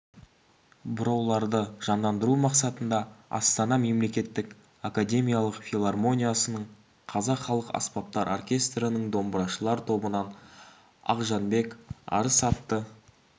бұрауларды жандандыру мақсатында астана мемлекеттік академиялық филармониясының қазақ халық аспаптар оркестрінің домбырашылар тобынан ақжанбек-арыс атты